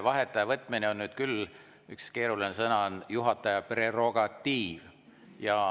Vaheaja võtmine on juhataja – üks keeruline sõna – prerogatiiv.